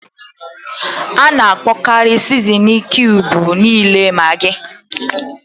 A na-akpọkarị sizinin kiubu niile Magị.